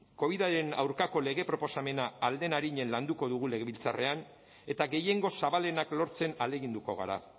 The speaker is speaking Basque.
covidaren aurkako lege proposamena ahal den arinen landuko dugu legebiltzarrean eta gehiengo zabalenak lortzen ahaleginduko gara